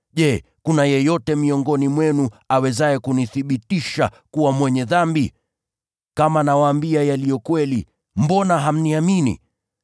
Je, kuna yeyote miongoni mwenu awezaye kunithibitisha kuwa mwenye dhambi? Kama nawaambia yaliyo kweli, mbona hamniamini?